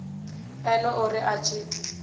ene o ri a tshi